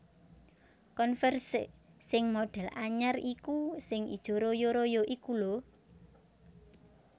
Converse sing modhel anyar iku sing ijo royo royo iku lho